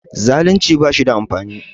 Zaalunci ba shi da amfani